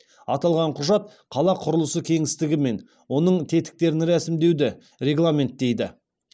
аталған құжат қала құрылысы кеңістігі мен оның тетіктерін рәсімдеуді регламенттейді